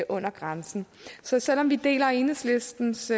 under grænsen så selv om vi deler enhedslistens